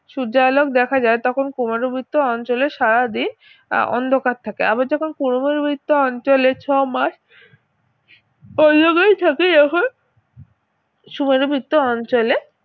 সূর্যালোক দেখা যায় তখন কুমেরুবৃত্ত অঞ্চলের সারাদিন অন্ধকার থাকে আবার যখন কুমেরুবৃত্ত অঞ্চলে ছয়মাস যখন সুমেরু বৃত্ত অঞ্চলে